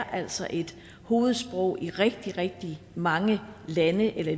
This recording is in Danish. altså er et hovedsprog i rigtig rigtig mange lande eller